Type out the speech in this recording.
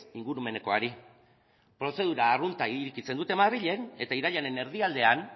ingurumenekoari prozedura arrunta irekitzen dute madrilen eta irailaren erdialdean